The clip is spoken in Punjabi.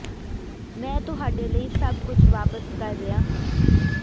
ਮੈਂ ਤੁਹਾਡੇ ਲਈ ਸਭ ਕੁਝ ਵਾਪਸ ਕਰ ਰਿਹਾ ਹਾਂ